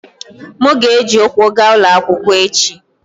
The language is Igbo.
M ga-eji ụkwụ gaa ụlọ akwụkwọ echi.